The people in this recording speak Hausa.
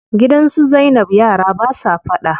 Gidan su zainab yara basa faɗa.